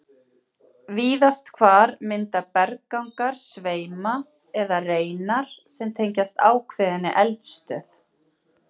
Víðast hvar mynda berggangar sveima eða reinar sem tengjast ákveðinni eldstöð.